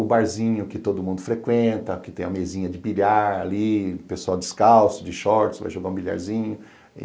O barzinho que todo mundo frequenta, que tem a mesinha de bilhar ali, o pessoal descalço, de shorts, vai jogar um bilharzinho.